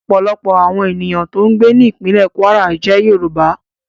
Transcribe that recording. Ọ̀pọ̀lọpọ̀ àwọn ènìyàn tó ń gbé ní ìpínlè Kwara jẹ́ Yorùbá